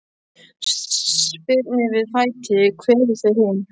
Spyrnir við fæti, kveður þau hin.